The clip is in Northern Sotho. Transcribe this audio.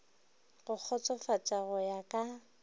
go kgotsofatša go ya ka